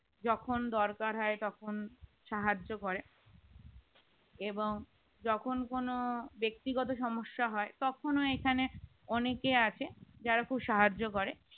যখন দরকার হয় তখন সাহায্য করে এবং যখন কোন ব্যক্তিগতও সমস্যা হয় তখন এখানে অনেকে আছে যারা খুব সাহায্য করে